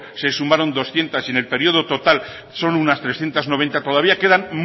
se sumaron doscientos y en el periodo total son unas trescientos noventa todavía quedan